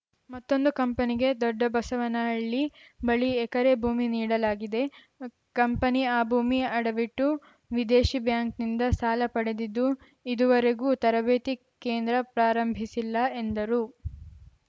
ಮತ್ತೊಂದು ಕಂಪನಿಗೆ ದೊಡ್ಡಬಸವನಹಳ್ಳಿ ಬಳಿ ಎಕರೆ ಭೂಮಿ ನೀಡಲಾಗಿದೆ ಕಂಪನಿ ಆ ಭೂಮಿ ಆಡವಿಟ್ಟು ವಿದೇಶಿ ಬ್ಯಾಂಕ್‌ನಿಂದ ಸಾಲ ಪಡೆದಿದ್ದು ಇದುವರೆಗೂ ತರಬೇತಿ ಕೇಂದ್ರ ಪ್ರಾರಂಭಿಸಿಲ್ಲ ಎಂದರು